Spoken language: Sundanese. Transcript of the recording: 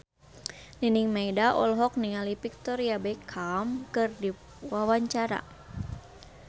Nining Meida olohok ningali Victoria Beckham keur diwawancara